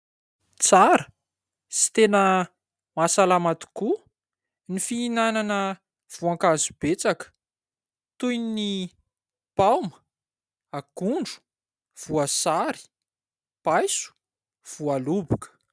Tsara sy tena mahasalama tokoa ny fihinanana voankazo betsaka toy ny paoma, akondro, voasary paiso, voaloboka.